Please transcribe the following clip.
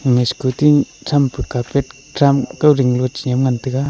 ema scochi champu karpat tram kow ding nu ley ngan chega.